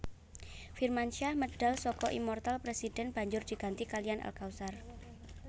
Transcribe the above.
Firmansyah medal saka Immoortal President banjur diganti kaliyan Al Kautsar